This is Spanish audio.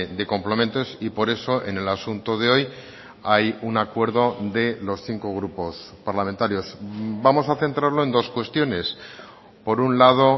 de complementos y por eso en el asunto de hoy hay un acuerdo de los cinco grupos parlamentarios vamos a centrarlo en dos cuestiones por un lado